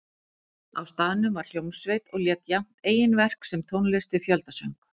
Á staðnum var hljómsveit og lék jafnt eigin verk sem tónlist við fjöldasöng.